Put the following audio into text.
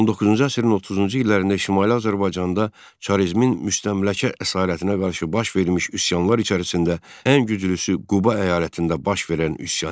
19-cu əsrin 30-cu illərində Şimali Azərbaycanda çarizmin müstəmləkə əsarətinə qarşı baş vermiş üsyanlar içərisində ən güclüsü Quba əyalətində baş verən üsyan idi.